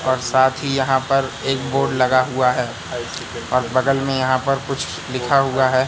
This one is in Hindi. और साथ ही यहां पर एक बोर्ड लगा हुआ है और बगल में यहां पर कुछ लिखा हुआ है।